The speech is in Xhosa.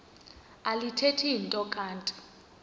alithethi nto kanti